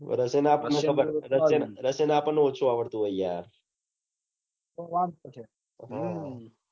Russian ખરા પન Russian આપણ ને ઓછુ આવડતું હોય યાર હમ